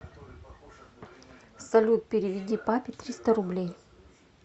салют переведи папе триста рублей